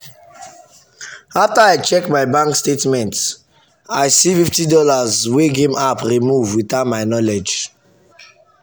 after i check my bank statement i see fifty dollarswey game app remove without my knowledge.